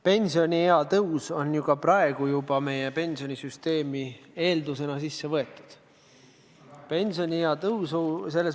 Pensioniea tõus on juba praegu pensionisüsteemi eeldusena sisse kirjutatud.